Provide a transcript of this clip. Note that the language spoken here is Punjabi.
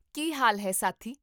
ਕੀ ਹਾਲ ਹੈ ਸਾਥੀ?